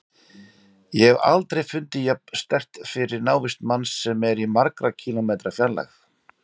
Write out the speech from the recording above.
Ég hef aldrei fundið jafn sterkt fyrir návist manns sem er í margra kílómetra fjarlægð.